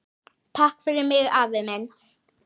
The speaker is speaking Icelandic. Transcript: Takk fyrir mig, afi minn.